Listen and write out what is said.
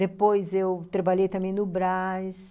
Depois, trabalhei também no Brás.